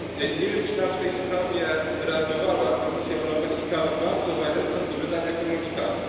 Nie wiem, czy w tej sprawie reagowała Komisja Europejska, ale bardzo zachęcam do wydania komunikatu.